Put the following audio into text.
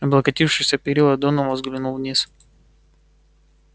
облокотившись о перила донован взглянул вниз